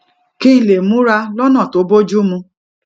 kí n lè múra lónà tó bójú mu